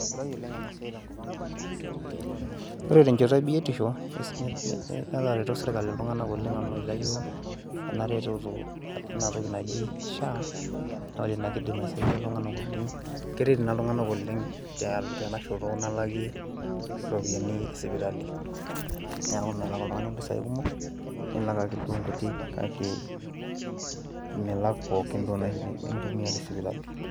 Ore tenchoto ebiotisho, netareto sirkali iltung'anak kumok oleng amu itayio enaretoto enatoki naji SHA, ore ina kidim aisaidia oleng',keret ina iltung'anak oleng tenashoto nalaki iropiyiani esipitali. Neeku melak oltung'ani impisai kumok, nilak ake duo nkutik kake milak pookin duo nai nintumia tesipitali.